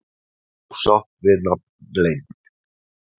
Ósátt við nafnleynd